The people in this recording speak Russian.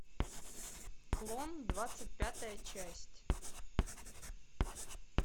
клон двадцать пятая часть